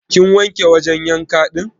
Kin wanke wajan yanka din?